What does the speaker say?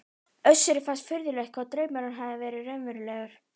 Össuri fannst furðulegt hvað draumurinn hafði verið raunverulegur.